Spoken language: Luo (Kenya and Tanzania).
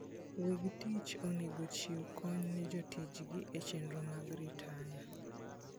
Weg tich onego ochiw kony ne jotichgi e chenro mag ritaya.